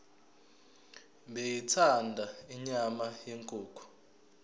beyithanda inyama yenkukhu